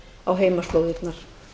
á heimaslóðirnar